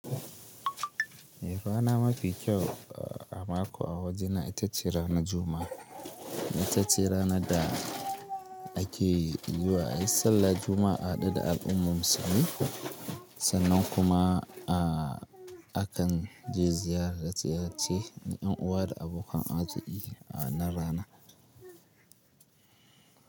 Eh rana mafi kyau a mako a wajena itace ranar Juma'a. Itace ranar da ake zuwa ayi sallah Juma'a a haɗu da al'umman Musulmi sannan kuma a akan je ziyarar ziyarci yan uwa da abokan arziƙi a wannan rana.